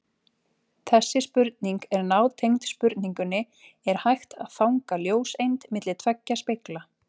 Þessi spurning er nátengd spurningunni Er hægt að fanga ljóseind milli tveggja spegla?